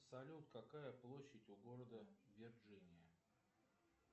салют какая площадь у города вирджиния